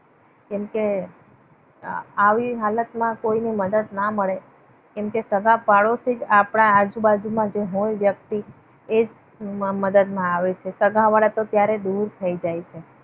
કેમકે આવી હાલતમાં કોઈની મદદ ન મળે. કેમ કે સગા પાડોશી જ આપણા આજુબાજુના કોઈ વ્યક્તિ એ જ મદદમાં આવે છે. સગાવાળા તો ત્યારે દૂર થઈ જાય છે.